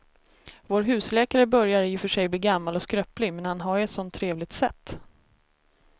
Vår husläkare börjar i och för sig bli gammal och skröplig, men han har ju ett sådant trevligt sätt!